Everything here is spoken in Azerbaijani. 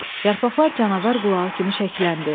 Yarpaqlar canavar qulağı kimi şəkləndi.